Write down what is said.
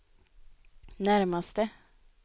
närmaste